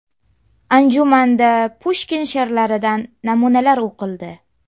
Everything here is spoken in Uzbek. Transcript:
Anjumanda Pushkin she’rlaridan namunalar o‘qildi.